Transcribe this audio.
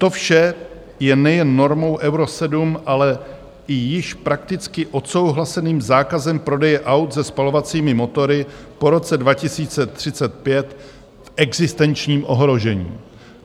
To vše je nejen normou Euro 7, ale i již prakticky odsouhlaseným zákazem prodeje aut se spalovacími motory po roce 2035 v existenčním ohrožení.